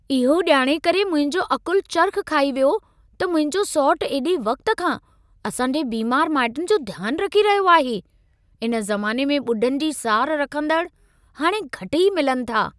इहो ॼाणे करे मुंहिंजो अक़ुल चरिख़ खाई वियो त मुंहिंजो सौट एॾे वक्त खां असां जे बीमार माइटनि जो ध्यान रखी रहियो आहे। इन ज़माने में ॿुढ़नि जी सार रखंदड़ हाणे घटि ई मिलनि था।